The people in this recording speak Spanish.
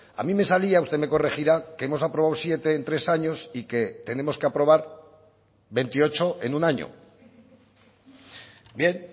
a mí me salía usted me corregirá que hemos aprobado siete en tres años y que tenemos que aprobar veintiocho en un año bien